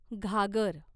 घागर